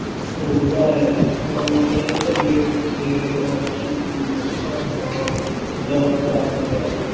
ਦੌੜਦਾ ਹੈ। ਮਨ ਕਈ ਸਰੀਰਕ ਤੇ ਮਾਨਸਿਕ ਅਹ ਦੁੱਖਾਂ ਦਾ ਅਹ ਦਾ ਕਾਰਨ ਹੈ।